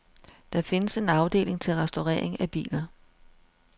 Der findes en afdeling til restaurering af biler.